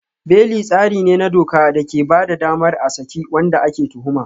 Beli tsari ne na doka da ke ba da damar a saki wanda ake tuhuma.